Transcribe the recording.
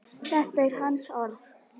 Þetta eru hans orð.